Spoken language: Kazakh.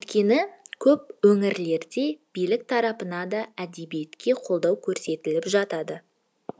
өйткені көп өңірлерде билік тарапына да әдебиетке қолдау көрсетіліп жатады